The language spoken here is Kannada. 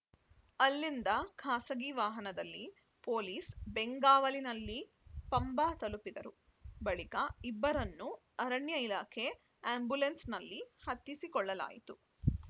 ಅಲ್ಲಿಂದ ಖಾಸಗಿ ವಾಹನದಲ್ಲಿ ಪೊಲೀಸ್‌ ಬೆಂಗಾವಲಿನಲ್ಲಿ ಪಂಬಾ ತಲುಪಿದರು ಬಳಿಕ ಇಬ್ಬರನ್ನೂ ಅರಣ್ಯ ಇಲಾಖೆ ಆ್ಯಂಬುಲೆನ್ಸ್‌ನಲ್ಲಿ ಹತ್ತಿಸಿಕೊಳ್ಳಲಾಯಿತು